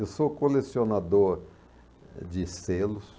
Eu sou colecionador de selos.